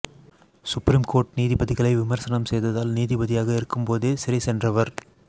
supreme court நீதிபதிகளை விமர்சனம் செய்ததால் நீதிபதியாக இருக்கும்போதே சிறை சென்றவர்